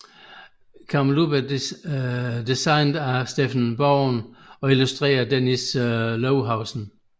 Camel Up er designet af Steffen Bogen og illustreret af Dennis Lohausen